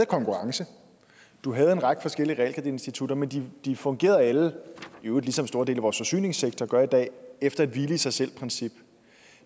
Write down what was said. konkurrence og du havde en række forskellige realkreditinstitutter men de fungerede alle i øvrigt ligesom store dele forsyningssektor gør i dag efter et hvile i sig selv princip